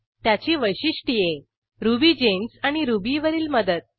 त्याची वैशिष्ट्ये रुबिगेम्स आणि रुबी वरील मदत